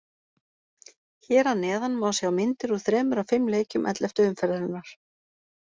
Hér að neðan má sjá myndir úr þremur af fimm leikjum elleftu umferðarinnar.